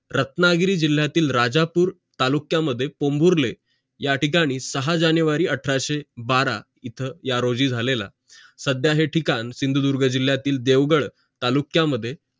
रत्नागिरी जिल्यातील राजापूर तालुक्यामध्ये कोंभुरले या ठिकाणी सहा जानेवारी अठराशे बारा इथं या रोजी झालेला सध्या हा ठिकाण सिंधुदुर्ग जिल्यातील देवगड तालुक्या मध्ये